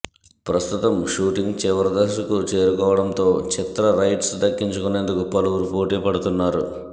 ప్రస్తుతం షూటింగ్ చివరి దశకు చేరుకోవడం తో చిత్ర రైట్స్ దక్కించుకునేందుకు పలువురు పోటీ పడుతున్నారు